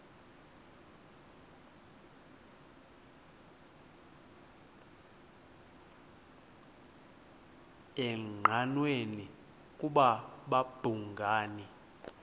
engqanweni ukuba babhungani